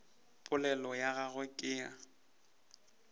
polelo ya gagwe ke ya